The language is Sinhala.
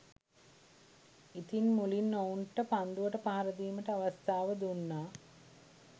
ඉතින් මුලින් ඔවුන්ට පන්දුවට පහර දීමට අවස්ථාව දුන්නා